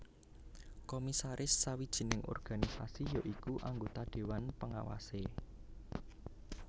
Komisaris sawijining organisasi ya iku anggota dewan pengawase